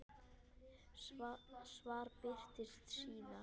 Svar birtist síðar.